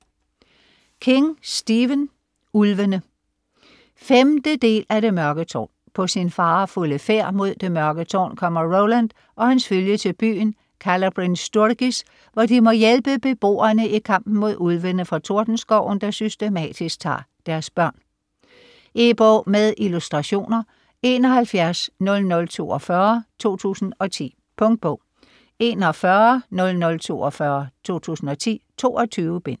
King, Stephen: Ulvene 5. del af Det mørke tårn. På sin farefulde færd mod Det Mørke Tårn kommer Roland og hans følge til byen Calla Bryn Sturgis, hvor de må hjælpe beboerne i kampen mod Ulvene fra Tordenskoven, der systematisk tager deres børn. E-bog med illustrationer 710042 2010. Punktbog 410042 2010. 22 bind.